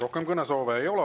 Rohkem kõnesoove ei ole.